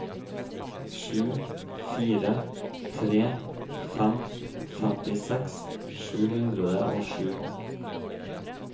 sju fire tre fem femtiseks sju hundre og sju